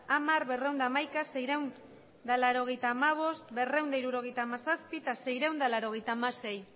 hamar berrehun eta hamaika seiehun eta laurogeita hamabost berrehun eta hirurogeita hamazazpi eta seiehun eta laurogeita hamasei